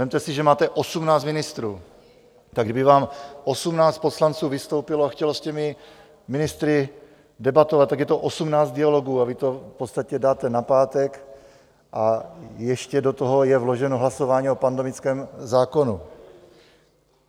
Vezměte si, že máte 18 ministrů, tak kdyby vám 18 poslanců vystoupilo a chtělo s těmi ministry debatovat, tak je to 18 dialogů, a vy to v podstatě dáte na pátek, a ještě do toho je vloženo hlasování o pandemickém zákonu.